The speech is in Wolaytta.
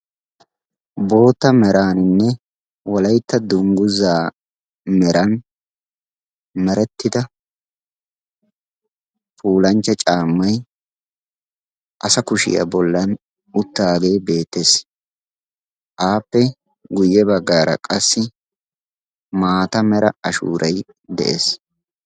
Bootta meraaninne wolaytta dunguzaa meran merettida puullanchcha caammay asa kushshiyaa bollan uttagee beettees, appe guye baggaara qassi maata mera ashshuuray de'es.